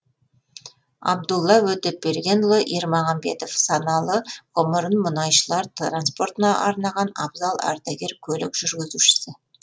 абдулла өтепбергенұлы ермағанбетов саналы ғұмырын мұнайшылар транспортына арнаған абзал ардагер көлік жүргізушісі